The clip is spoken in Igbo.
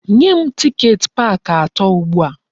Nye m tiket park ato ugbu a!